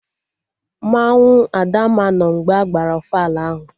Mmanwụ Adamma nọ mgbe agbara ofala ahụ